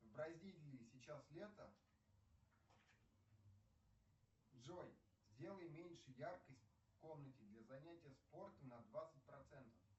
в бразилии сейчас лето джой сделай меньше яркость в комнате для занятия спортом на двадцать процентов